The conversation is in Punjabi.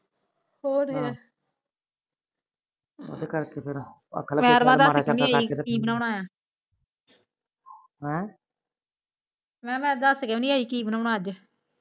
ਹੋਰ ਫਿਰ ਹਮ ਮੈ ਕਿਹਾ ਮੈ ਦੱਸ ਕੇ ਵੀ ਨੀ ਆਈ ਕੀ ਬਣਾਉਣਾ ਅੱਜ